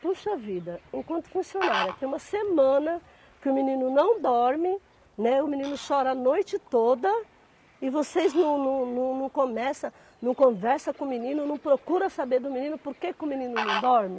Puxa vida, enquanto funcionária tem uma semana que o menino não dorme, né, o menino chora a noite toda e vocês não não não não começam, não conversam com o menino, não procuram saber do menino porque que o menino não dorme?